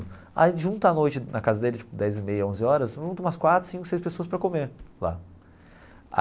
Aí junta a noite na casa dele, tipo, dez e meia, onze horas, junta umas quatro, cinco, seis pessoas para comer lá.